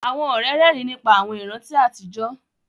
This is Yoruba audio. Àwọn ọ̀rẹ́ rẹ́rìn nípa àwọn ìrántí àtijọ́